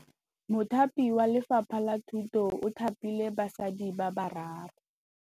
Mothapi wa Lefapha la Thutô o thapile basadi ba ba raro.